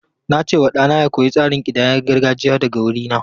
Na ce wa ɗana ya koyi tsarin kidayar gargajiya daga wurina.